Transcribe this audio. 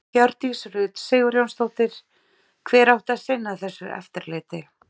Hjördís Rut Sigurjónsdóttir: Hver átti að sinna þessu eftirliti?